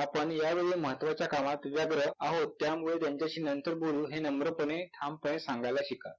आपण यावेळी महत्वाच्या कामात व्यग्र आहोत त्यामुळे त्यांच्याशी नंतर बोलू हे नम्रपणे, ठामपणे सांगायला शिका.